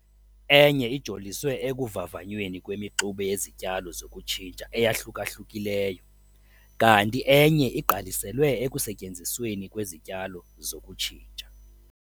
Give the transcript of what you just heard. Enye ijoliswe ekuvavanyweni kwemixube yezityalo zokutshintsha eyahluka-hlukileyo kanti enye igqaliselwe ekusetyenzisweni kwezityalo zokutshintsha.